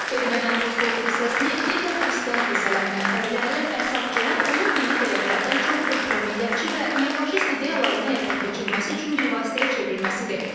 Erməni Apostol kilsəsini digər xristian kilsələrindən fərqləndirən əsas cəhət onun dini dəyərlərdən çox ultramillətçi və neofaşist ideyaların həyata keçirilməsi üçün bir vasitəyə çevrilməsidir.